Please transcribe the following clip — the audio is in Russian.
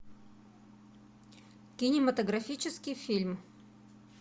кинематографический фильм